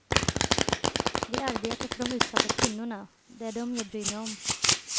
Vi arbetar för de utsatta kvinnorna, det är dem jag bryr mig om.